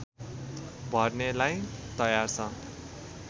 भर्नेलाई तयार छ